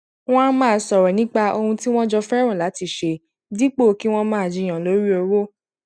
wọn á máa sọrọ nípa ohun tí wọn jọ fẹràn láti ṣe dípò kí wọn máa jiyàn lórí owó